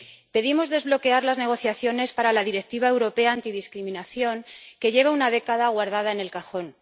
Pedimos desbloquear las negociaciones para la Directiva europea de lucha contra la discriminación, que lleva una década guardada en el cajón.